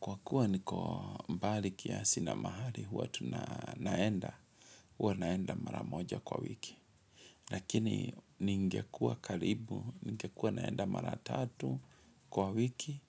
Kwa kuwa niko mbali kiasi na mahali, huwa tuna naenda, huwa naenda mara moja kwa wiki. Lakini ningekua karibu, ningekuwa naenda mara tatu kwa wiki,